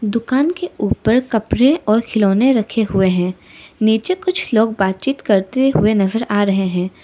दुकान के ऊपर कपड़े और खिलौने रखे हुए हैं नीचे कुछ लोग बातचीत करते हुए नजर आ रहे हैं।